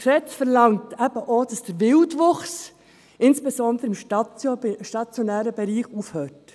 Dieses Gesetz verlangt eben auch, dass der Wildwuchs, insbesondere im stationären Bereich, aufhört.